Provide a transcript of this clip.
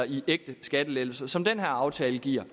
i ægte skattelettelser som den her aftale giver